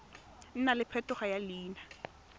nna le phetogo ya leina